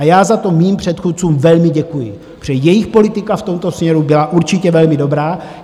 A já za to mým předchůdcům velmi děkuji, protože jejich politika v tomto směru byla určitě velmi dobrá.